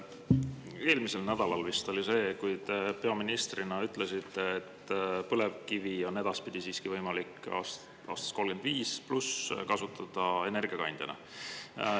Vist eelmisel nädalal oli see, kui te peaministrina ütlesite, et põlevkivi on võimalik alates aastast 2035 siiski kasutada energiakandjana.